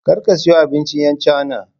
Kar ka siyo abincin yan chana